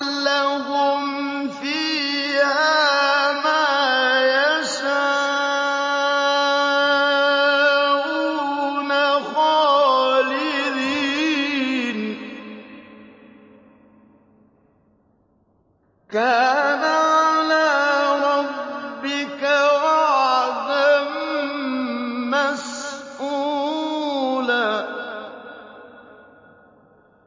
لَّهُمْ فِيهَا مَا يَشَاءُونَ خَالِدِينَ ۚ كَانَ عَلَىٰ رَبِّكَ وَعْدًا مَّسْئُولًا